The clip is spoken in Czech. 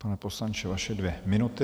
Pane poslanče, vaše dvě minuty.